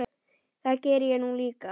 Það geri ég nú líka.